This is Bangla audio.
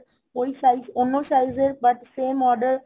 ওই size অন্য size এর but same order